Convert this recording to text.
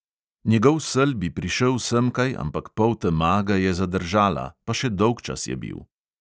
Njegov sel bi prišel semkaj, ampak poltema ga je zadržala, pa še dolgčas je bil.